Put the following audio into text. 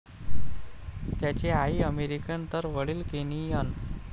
त्यांची आई अमेरिकन तर वडील केनियन.